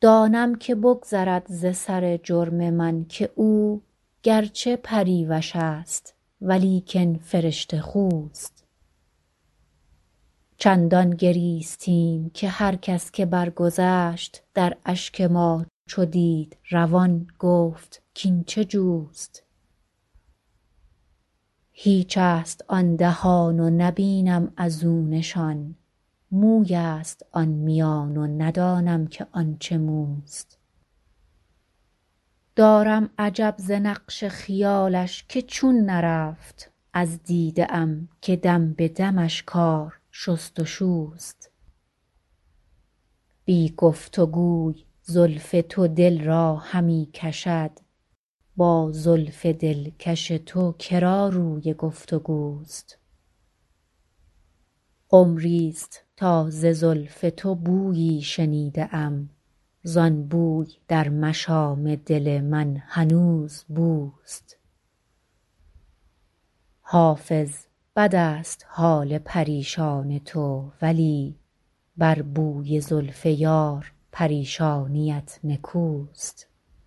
دانم که بگذرد ز سر جرم من که او گر چه پریوش است ولیکن فرشته خوست چندان گریستیم که هر کس که برگذشت در اشک ما چو دید روان گفت کاین چه جوست هیچ است آن دهان و نبینم از او نشان موی است آن میان و ندانم که آن چه موست دارم عجب ز نقش خیالش که چون نرفت از دیده ام که دم به دمش کار شست و شوست بی گفت و گوی زلف تو دل را همی کشد با زلف دلکش تو که را روی گفت و گوست عمری ست تا ز زلف تو بویی شنیده ام زان بوی در مشام دل من هنوز بوست حافظ بد است حال پریشان تو ولی بر بوی زلف یار پریشانیت نکوست